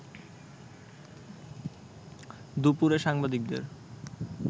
দুপুরে সাংবাদিকদের